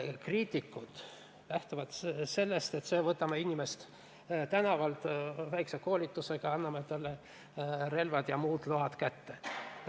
Kriitikud lähtuvad sellest, et võtame inimese tänavalt, vähese koolitusega, anname talle relva- ja muud load kätte.